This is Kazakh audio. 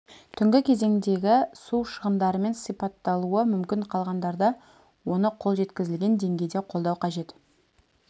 түнгі кезеңдегі су шығындарымен сипатталуы мүмкін қалғандарда оны қол жеткізілген деңгейде қолдау қажет